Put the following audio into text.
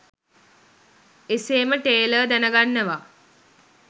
එසේම ටේලර් දැනගන්නවා